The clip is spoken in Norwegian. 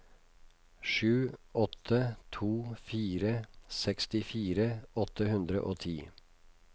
sju åtte to fire sekstifire åtte hundre og ti